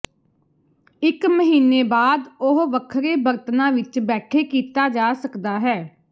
ਇੱਕ ਮਹੀਨੇ ਬਾਅਦ ਉਹ ਵੱਖਰੇ ਬਰਤਨਾ ਵਿਚ ਬੈਠੇ ਕੀਤਾ ਜਾ ਸਕਦਾ ਹੈ